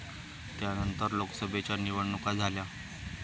त्यानंतर लोकसभेच्या निवडणुका झाल्या.